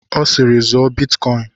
Ọ siiri, zụọ bitkọin!